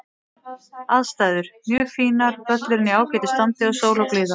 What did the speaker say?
Aðstæður: Mjög fínar, völlurinn í ágætu standi og sól og blíða.